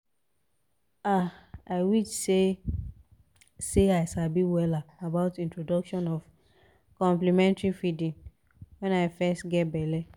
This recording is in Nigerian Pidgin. um our um health center host one talk about introduction honestly of complementary feeding and i learn plenty things.